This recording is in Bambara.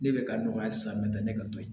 Ne bɛ ka nɔgɔya hali san n bɛ taa ne ka to yen